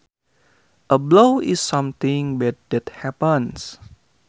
A blow is something bad that happens